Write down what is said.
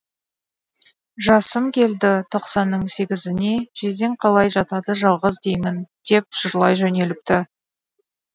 жасым келді тоқсанның сегізіне жездең қалай жатады жалғыз деймін деп жырлай жөнеліпті